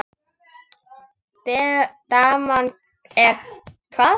Daman er hvað.